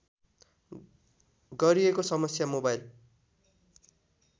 गरिएको समस्या मोबाइल